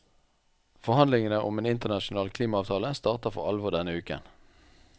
Forhandlingene om en internasjonal klimaavtale starter for alvor denne uken.